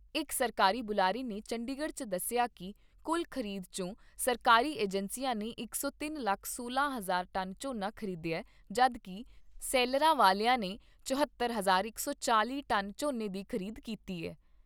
ਇਕ ਸਰਕਾਰੀ ਬੁਲਾਰੇ ਨੇ ਚੰਡੀਗੜ੍ਹ 'ਚ ਦੱਸਿਆ ਕਿ ਕੁੱਲ ਖ਼ਰੀਦ ' ਚੋਂ ਸਰਕਾਰੀ ਏਜੰਸੀਆਂ ਨੇ ਇਕ ਸੌ ਤਿੰਨ ਲੱਖ ਸੌਲਾਂ ਹਜ਼ਾਰ ਟਨ ਝੋਨਾ ਖ਼ਰੀਦਿਆ ਜਦ ਕਿ ਸ਼ੈਲਰਾਂ ਵਾਲਿਆਂ ਨੇ ਚੁਹੌਤਰ, ਇਕ ਸੌ ਚਾਲ਼ੀ ਟਨ ਝੋਨੇ ਦੀ ਖ਼ਰੀਦ ਕੀਤੀ ਏ।